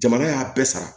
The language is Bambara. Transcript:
Jamana y'a bɛɛ sara